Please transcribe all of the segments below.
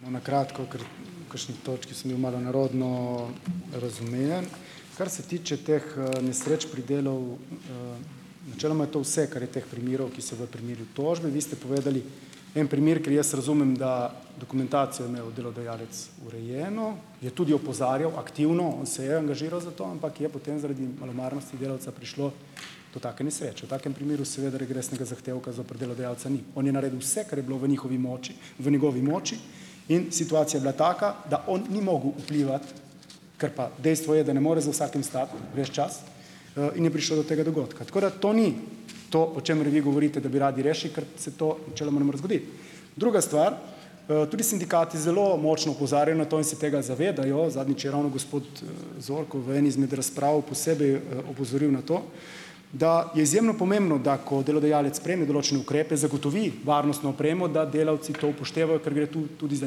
Bom na kratko, ker v kakšni točki sem bil malo nerodno razumljen. Kar se tiče teh, nesreč pri delu, načeloma je to vse, kar je teh primerov, ki so v primeru tožbe. Vi ste povedali en primer, kjer jaz razumem, da dokumentacijo je imel delodajalec urejeno, je tudi opozarjal aktivno, on se je angažiral za to, ampak je potem zaradi malomarnosti delavca prišlo do take nesreče. V takem primeru seveda regresnega zahtevka zoper delodajalca ni. On je naredil vse, kar je bilo v njihovi moči, v njegovi moči in situacija je bila taka, da on ni mogel vplivati, ker pa dejstvo je, da ne more za vsakim stati ves čas, in je prišlo do tega dogodka. Tako da to ni to, o čemer vi govorite, da bi radi rešili, ker se to načeloma ne more zgoditi. Druga stvar, tudi sindikati zelo močno opozarjajo na to in se tega zavedajo. Zadnjič je ravno gospod, Zorko v eni izmed razprav posebej, opozoril na to, da je izjemno pomembno, da ko delodajalec prejme določene ukrepe, zagotovi varnostno opremo, da delavci to upoštevajo, ker gre tu tudi za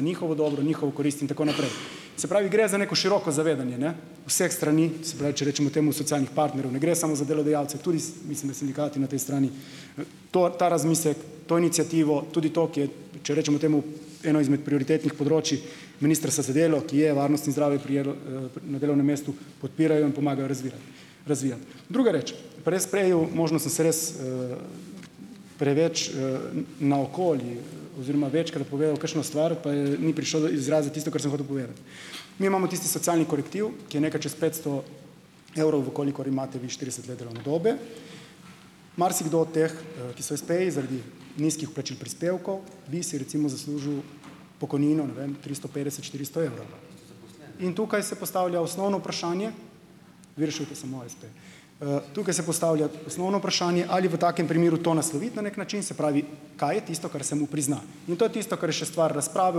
njihovo dobro, njihovo korist in tako naprej. Se pravi, gre za neko široko zavedanje, ne, vseh strani, se pravi, če rečemo temu socialnih partnerjev. Ne gre samo za delodajalce, tudi mislim, da sindikati na tej strani, to ta razmislek, to iniciativo, tudi to, ki je, če rečemo temu, eno izmed prioritetnih področij Ministrstva za delo, ki je varnost in zdravje pri na delovnem mestu podpirajo in pomagajo razvirati. Razvijati. Druga reči, prej možno, sem se res, preveč, naokoli oziroma večkrat povedal kakšno stvar, pa je ni prišlo do izraza tisto, kar sem hotel povedati. Mi imamo tisti socialni korektiv, ki je nekaj čas petsto evrov, v kolikor imate vi štirideset let delovne dobe. Marsikdo od teh, ki so espeji, zaradi nizkih vplačil prispevkov bi si, recimo, zaslužil pokojnino, ne vem, tristo petdeset, štiristo evrov. In tukaj se postavlja osnovno vprašanje, vi rešujete samo espe, tukaj se postavlja osnovno vprašanje, ali v takem primeru to nasloviti na neki način, se pravi, kaj je tisto, kar se mu prizna. In to je tisto, kar je še stvar razprave,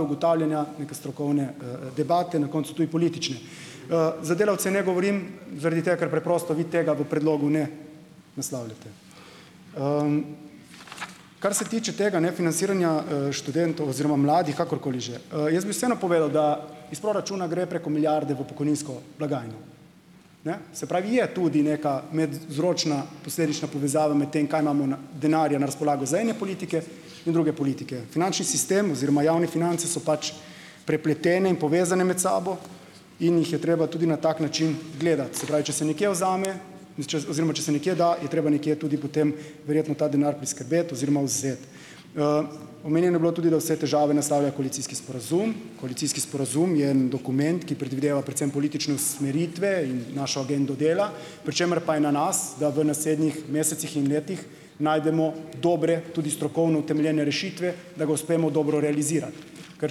ugotavljanja, neke strokovne, debate, na koncu tudi politične. Za delavce ne govorim zaradi tega, ker preprosto vi tega v predlogu ne naslavljate. Kar se tiče tega, ne, financiranja, študentov oziroma mladih, kakorkoli že. Jaz bi vseeno povedal, da iz proračuna gre preko milijarde v pokojninsko blagajno. Ne. Se pravi, je tudi neka medvzročna posledična povezava med tem, kaj imamo na denarja na razpolago za ene politike in druge politike. Finančni sistem oziroma javne finance so pač prepletene in povezane med sabo in jih je treba tudi na tak način gledati. Se pravi, če se nekje vzame in če oziroma če se nekje da, je treba nekje tudi potem verjetno ta denar priskrbeti oziroma vzeti. Omenjeno je bilo tudi, da vse težave naslavlja koalicijski sporazum. Koalicijski sporazum je en dokument, ki predvideva predvsem politične usmeritve in našo agendo dela, pri čemer pa je na nas, da v naslednjih mesecih in letih najdemo dobre, tudi strokovno utemeljene rešitve, da ga uspemo dobro realizirati. Ker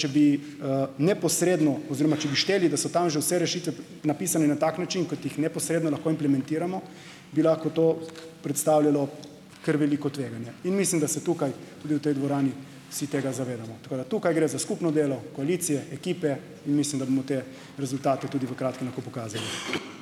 če bi, neposredno oziroma če bi hoteli, da so tam že vse rešitve napisane na tak način, kot jih neposredno lahko implementiramo, bi lahko to predstavljalo kar veliko tveganje. In mislim, da se tukaj tudi v tej dvorani vsi tega zavedamo. Tako da. Tukaj gre za skupno delo koalicije, ekipe in mislim, da bomo te rezultate tudi v kratkem lahko pokazali.